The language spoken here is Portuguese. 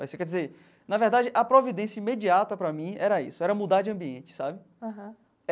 Aí você quer dizer, na verdade, a providência imediata para mim era isso, era mudar de ambiente, sabe?